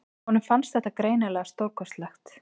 Honum fannst þetta greinilega stórkostlegt.